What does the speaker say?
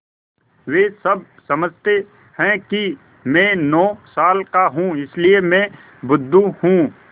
वे सब समझते हैं कि मैं नौ साल का हूँ इसलिए मैं बुद्धू हूँ